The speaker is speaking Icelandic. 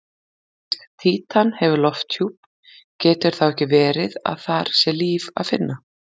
Fyrst Títan hefur lofthjúp, getur þá ekki verið að þar sé líf að finna?